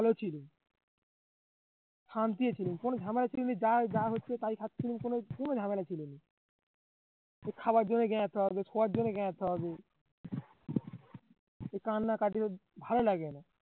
ভালো ছিল কোনো ঝামেলা যা যা হয়তো তাই কোনো ঝামেলা ছিল না খাবার জন্য শোবার জন্য কান্নাকাটি ভালো লাগে না